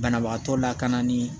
Banabagatɔ lakana ni